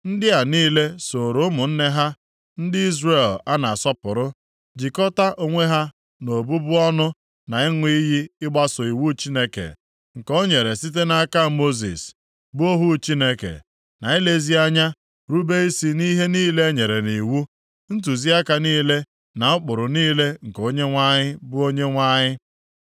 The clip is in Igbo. Ndị a niile sooro ụmụnne ha ndị Izrel a na-asọpụrụ, jikọtaa onwe ha nʼọbụbụ ọnụ na ịṅụ iyi ịgbaso iwu Chineke, nke o nyere site nʼaka Mosis, bụ ohu Chineke; na ilezi anya rube isi nʼihe niile enyere nʼiwu, ntụziaka niile na ụkpụrụ niile nke Onyenwe anyị bụ Onyenwe anyị.